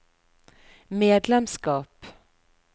medlemskap